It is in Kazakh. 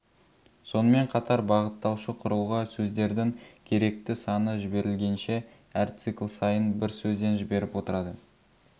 сонымен қатар бағыттаушы құрылғы сөздердің керекті саны жіберілгенше әр цикл сайын бір сөзден жіберіп отырады